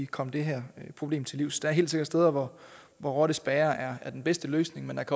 komme det her problem til livs der er helt sikkert steder hvor rottespærrer er den bedste løsning men